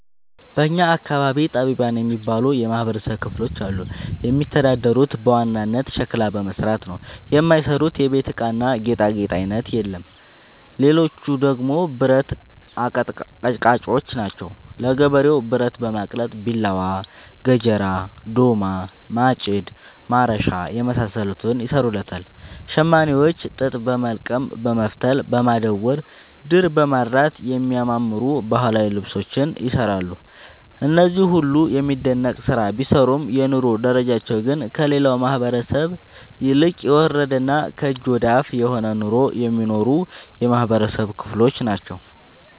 በእኛ አካባቢ ጠቢባን የሚባሉ የማህበረሰብ ክፍሎች አሉ። የሚተዳደሩት በዋናነት ሸክላ በመስራት ነው። የማይሰሩት የቤት እቃና ጌጣጌጥ አይነት የለም ሌቹ ደግሞ ብረት አቀጥቃጭጮች ናቸው። ለገበሬው ብረት በማቅለጥ ቢላዋ፣ ገጀራ፣ ዶማ፣ ማጭድ፣ ማረሻ የመሳሰሉትን ይሰሩለታል። ሸማኔዎች ጥጥ በወልቀም በመፍተል፣ በማዳወር፣ ድር በማድራት የሚያማምሩ ባህላዊ ልብሶችን ይሰራሉ። እነዚህ ሁሉም የሚደነቅ ስራ ቢሰሩም የኑሮ ደረጃቸው ግን ከሌላው ማህበረሰብ ይልቅ የወረደና ከእጅ ወዳፍ የሆነ ኑሮ የሚኖሩ የማህበረሰብ ክሎች ናቸው።